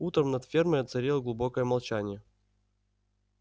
утром над фермой царило глубокое молчание